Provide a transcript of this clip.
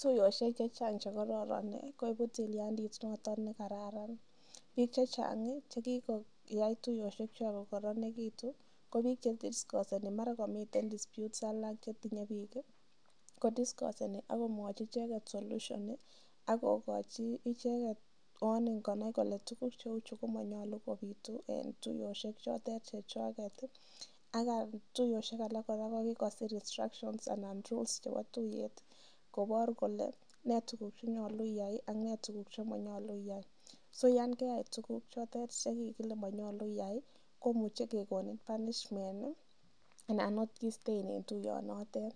Tuyosiek chechang chekororon koibu tilyandit noton ne karan biik chechang che kigoyai tuiyosiekkwak kogoronegitu ko bi che dikoseni mara komitenn diispute alak chetinye biik kodiskoseni ak komwochige solution ak kogochi icheget warning konai kole tuguk cheu chu komonyolu kobitu en tuiyosiek chotet chechwaget ak tuiyosiek alak kora ko kigosir instructions anan rules chebo tuiyet kobor kole ne tuguk chenyolu iyai ak ne tuguk che monyolu iyai. SO yan keyai tuguk chotet che kikile monyolu iyai ko muche kegonin punishment anan ot kisten en tuiyonotet